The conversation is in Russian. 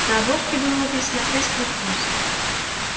на обложке было написано с плюс плюс